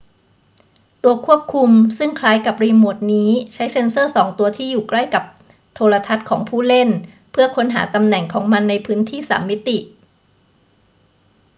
ตัวควบคุมซึ่งคล้ายกับรีโมทนี้ใช้เซ็นเซอร์สองตัวที่อยู่ใกล้กับโทรทัศน์ของผู้เล่นเพื่อค้นหาตำแหน่งของมันในพื้นที่สามมิติ